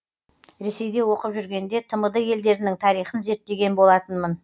ресейде оқып жүргенде тмд елдерінің тарихын зерттеген болатынмын